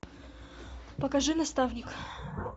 покажи наставник